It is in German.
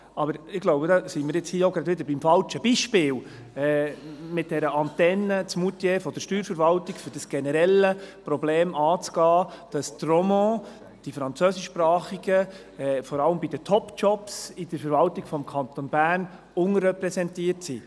Aber ich denke, damit sind wir hier auch gleich wieder beim falschen Beispiel, mit dieser Antenne der Steuerverwaltung in Moutier, um das generelle Problem anzugehen, dass die Romands, die Französischsprachigen, vor allem in den Top-Jobs der Verwaltung des Kantons Bern unterrepräsentiert sind.